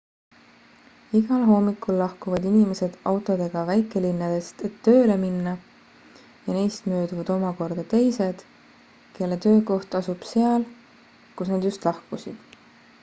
igal hommikul lahkuvad inimesed autodega väikelinnadest et tööle minna ja neist mööduvad omakorda teised kelle töökoht asub seal kust nad just lahkusid